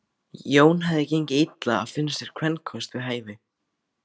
Jóni hafði gengið illa að finna sér kvenkost við hæfi.